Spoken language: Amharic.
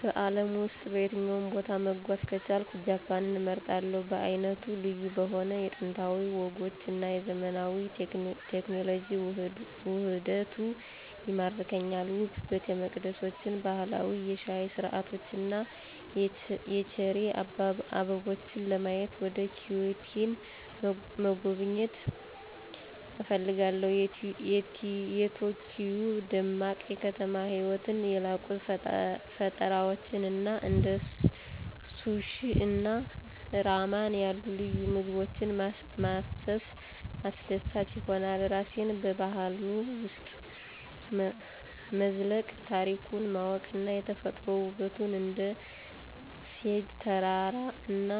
በአለም ውስጥ በየትኛውም ቦታ መጓዝ ከቻልኩ ጃፓንን እመርጣለሁ. በዓይነቱ ልዩ በሆነው የጥንታዊ ወጎች እና የዘመናዊ ቴክኖሎጂ ውህደቱ ይማርከኛል። ውብ ቤተመቅደሶችን፣ ባህላዊ የሻይ ሥርዓቶችን እና የቼሪ አበቦችን ለማየት ወደ ኪዮቶን መጎብኘት እፈልጋለሁ። የቶኪዮ ደማቅ የከተማ ህይወትን፣ የላቁ ፈጠራዎችን እና እንደ ሱሺ እና ራመን ያሉ ልዩ ምግቦችን ማሰስ አስደሳች ይሆናል። ራሴን በባህሉ ውስጥ መዝለቅ፣ ታሪኩን ማወቅ እና የተፈጥሮ ውበቱን እንደ ፉጂ ተራራ እና